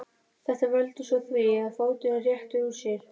Þetta veldur svo því að fóturinn réttir úr sér.